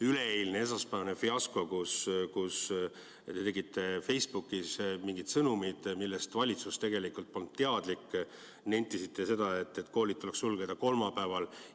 Üleeilne, esmaspäevane fiasko, kus te kirjutasite Facebookis mingeid sõnumeid, millest valitsus polnud teadlik, nentisite seda, et koolid tuleks sulgeda kolmapäeval.